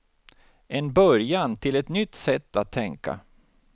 En början till ett nytt sätt att tänka.